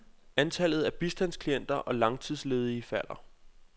Antallet af bistandsklienter og langtidsledige falder.